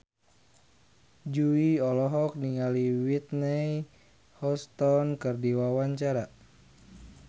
Jui olohok ningali Whitney Houston keur diwawancara